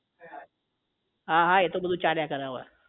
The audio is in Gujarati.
હા હા એતો બધું ચાલ્યા કરે અવે